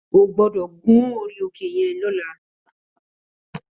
Ó gbòdò gún óri óké yèn lòlá